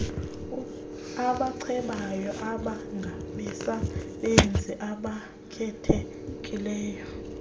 abacebayo babengabasebenzi abakhethekileyo